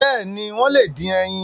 Bẹ́ẹ̀ni, wọ́n lè dín ẹyin.